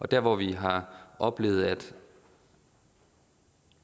der hvor vi har oplevet